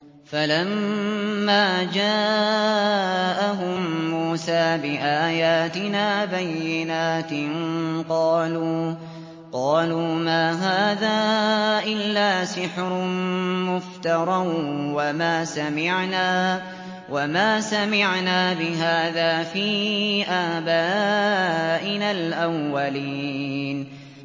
فَلَمَّا جَاءَهُم مُّوسَىٰ بِآيَاتِنَا بَيِّنَاتٍ قَالُوا مَا هَٰذَا إِلَّا سِحْرٌ مُّفْتَرًى وَمَا سَمِعْنَا بِهَٰذَا فِي آبَائِنَا الْأَوَّلِينَ